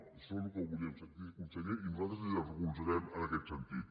això és el que volíem sentir conseller i nosaltres el recolzarem en aquest sentit